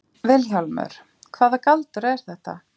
VILHJÁLMUR: Hvaða galdur er þetta?